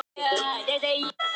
Og þær urðu til.